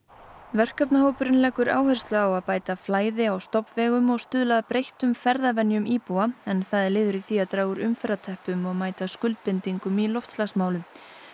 verkefnahópurinn leggur áherslu á að bæta flæði á stofnvegum og stuðla að breyttum ferðavenjum íbúa en það er liður í því að draga úr umferðarteppum og mæta skuldbindingum í loftslagsmálum